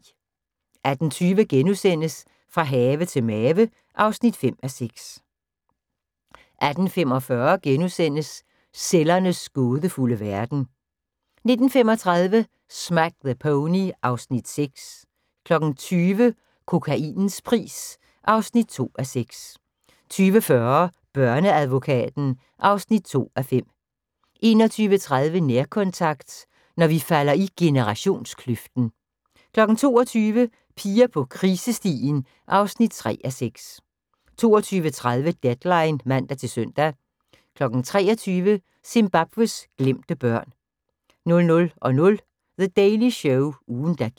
18:20: Fra have til mave (5:6)* 18:45: Cellernes gådefulde verden * 19:35: Smack the Pony (Afs. 6) 20:00: Kokainens pris (2:6) 20:40: Børneadvokaten (2:5) 21:30: Nærkontakt – når vi falder i generationskløften 22:00: Piger på krisestien (3:6) 22:30: Deadline (man-søn) 23:00: Zimbabwes glemte børn 00:00: The Daily Show – ugen der gik